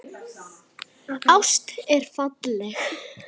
Ást er falleg.